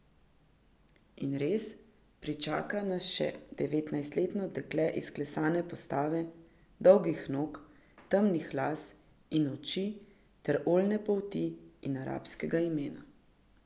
In res, pričaka nas še ne devetnajstletno dekle izklesane postave, dolgih nog, temnih las in oči ter oljne polti in arabskega imena.